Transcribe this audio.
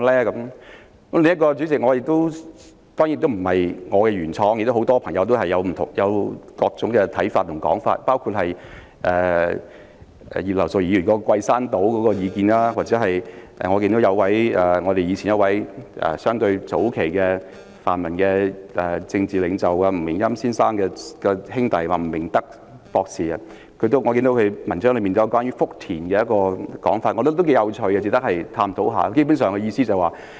主席，另一項建議當然不是我原創的，而很多朋友都提出各種不同的看法和說法，包括葉劉淑儀議員提出桂山島的建議，或者早期的泛民政治領袖吳明欽先生的兄弟吳明德博士，在他的文章中提出關於福田的說法，我覺得頗為有趣，值得探討。